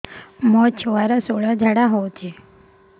ମୋ ଛୁଆର ସୁଳା ଝାଡ଼ା ହଉଚି